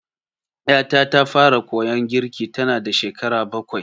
Ƴata ta fara koyon girki tanada shekara bakwai.